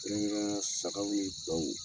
Kɛrɛnkɛrɛnnenyala, sagaw ni baw.